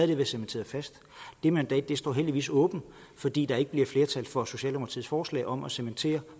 det været cementeret fast det mandat står heldigvis åbent fordi der ikke bliver flertal for socialdemokratiets forslag om at cementere